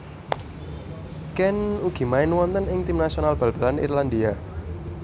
Keane ugi main wonten ing tim nasional bal balan Irlandia